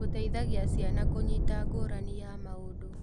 Gũteithagia ciana kũnyita ngũrani ya maũndũ.